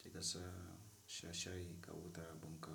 Dika sa sha shai ka huta abun ka.